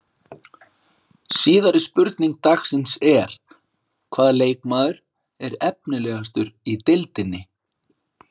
Síðari spurning dagsins er: Hvaða leikmaður er efnilegastur í deildinni?